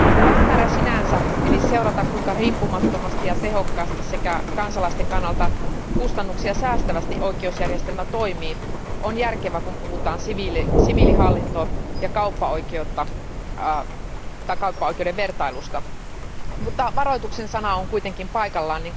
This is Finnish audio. Päämäärä sinänsä, eli seurata, kuinka riippumattomasti ja tehokkaasti sekä kansalaisten kannalta kustannuksia säästävästi oikeusjärjestelmä toimii, on järkevä, kun puhutaan siviilihallinnon ja kauppaoikeuden vertailusta, mutta varoituksen sana on kuitenkin paikallaan.